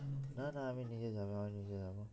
না না আমি নিজে যাবো আমি নিজে যাবো